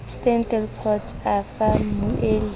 steyn delport a fa mmueli